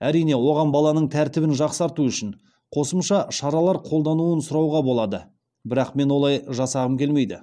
әрине оған балаланың тәртібін жақсарту үшін қосымша шаралар қолдануын сұрауға болады бірақ мен олай жасағым келмейді